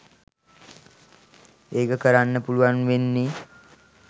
ඒක කරන්න පුළුවන් වෙන්නෙ